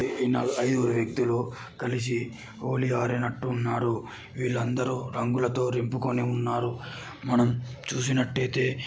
ఏ నలగు ఐదుగురు వ్యక్తులు కలిసి హోలీ ఆడినట్టు ఉన్నారు. వీలందరు రంగులతో నింపుకొని ఉన్నారు. మనం చూసినటయిటే --